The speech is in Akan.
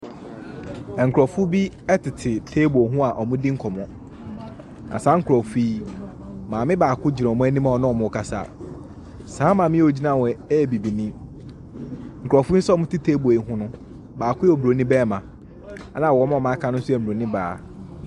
Nkurɔfoɔ bi tete table ho a wɔredi nkɔmmɔ. Na saa nkurɔfoɔ yi, maame baako gyina wɔn anim a ɔne wɔn rekasa. Saa maame a ɔgyina hɔ yi yɛ Bibini. Nkurɔfoɔ yi nso a wɔtete table yi ho no, baako yɛ Buronim barima, ɛna wɔn a wɔaka Mmuronin baa.